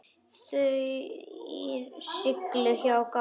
Þeir sigldu hjá Gásum.